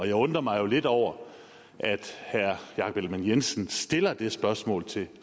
jeg undrer mig jo lidt over at herre jakob ellemann jensen stiller det spørgsmål til